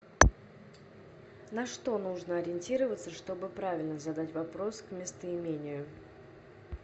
на что нужно ориентироваться чтобы правильно задать вопрос к местоимению